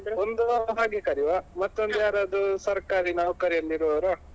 ಒಂದು ಹಾಗೆ ಕರಿಯುವ ಮತ್ತೊಂದು ಯಾರಾದ್ರೂ ಸರ್ಕಾರಿ ನೌಕರಿಯಲ್ಲಿ ಇರುವವರೋ.